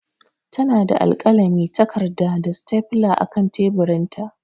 Tana da alkalami, takarda, da stapler a kan teburinta.